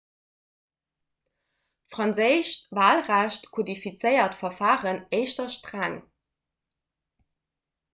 d'franséischt walrecht kodifiziert d'verfaren éischter streng